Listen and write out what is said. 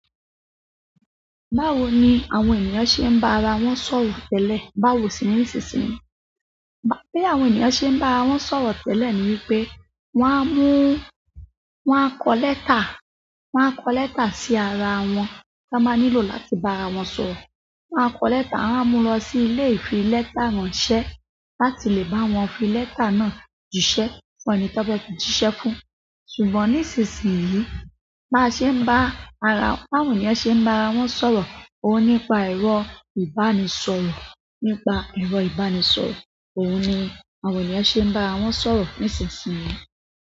Báwo ni àwọn ènìyàn ṣe ń bá ara wọn sọ̀rọ̀ tẹ́lẹ̀, báwo sì ní ìsinsìnyí? Bá bí àwọn ènìyàn ṣe ń bá ara wọn sọ̀rọ̀ tẹ́lẹ̀ ni wípé wọ́n á mú, wọ́n á kọ lẹ́tà, wọ́n á kọ lẹ́tà sí ara wọn, tí wọ́n bá nílò láti bá ara wọn sọ̀rọ̀. Wọ́n á kọ lẹ́tà, wọ́n á mú lọ sí ilé ìfi lẹ́tà ránṣẹ́ láti lè bá wọn fi lẹ́tà náà jíṣẹ́ fún ẹni tí wọ́n fẹ́ fi jíṣẹ́ fún. Ṣùgbọ́n nísinsìnyí, bá ṣe ń bá ara, bí àwọn èèyàn ṣe ń bá ara wọn sọ̀rọ̀? Òun ni nípa ẹ̀rọ ìbánisọ̀rọ̀, nípa ẹ̀rọ ìbánisọ̀rọ̀. Òun ní àwọn ènìyàn ṣe ń bá ara wọn sọ̀rọ̀ nísinsìnyí.